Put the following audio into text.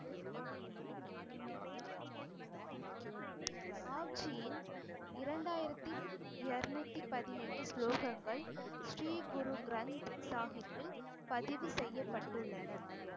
ஆப்ஜியின் இரண்டாயிரத்தி இருநூத்தி பதினெட்டு ஸ்லோகங்கள் ஸ்ரீ குரு கிரந்த சாஹிப்பில் பதிவு செய்யப்பட்டுள்ளன